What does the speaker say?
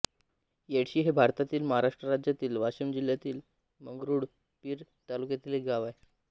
येडशी हे भारतातील महाराष्ट्र राज्यातील वाशिम जिल्ह्यातील मंगरुळपीर तालुक्यातील एक गाव आहे